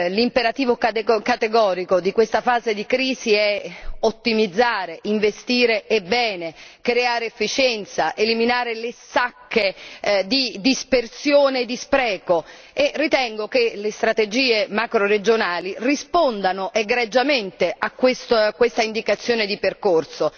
L'imperativo categorico di questa fase di crisi è ottimizzare, investire e bene creare efficienza, eliminare le sacche di dispersione e di spreco e ritengo che le strategie macroregionali rispondano egregiamente a questa indicazione di percorso,